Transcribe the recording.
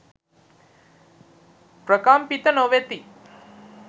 ප්‍රකම්පිත නොවෙති.